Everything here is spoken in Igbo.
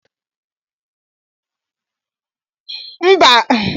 Mba anaghi adi mma nwatakiri ikiri ihe onyonyo ihụnanya.